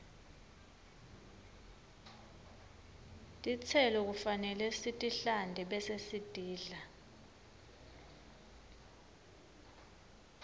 tistelo kufanele sitihlante bese sitidla